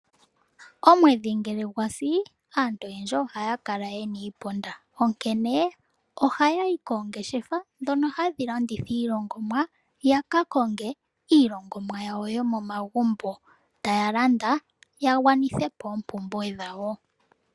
Omwedhi ngele gwa si aantu oyendji oha ya kala yena iiponda, onkene ohaya yi koongeshefa dhono hadhi landitha iilongomwa, yaka konge iilongomwa yawo yomomagumbo ta ya landa ya gwanithe po oompumbwe dhawo.